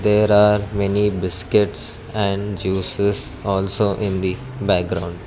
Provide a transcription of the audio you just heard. there are many biscuits and juices also in the background.